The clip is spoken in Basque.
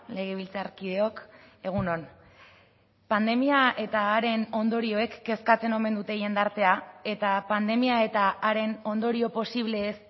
legebiltzarkideok egun on pandemia eta haren ondorioek kezkatzen omen dute jendartea eta pandemia eta haren ondorio posibleez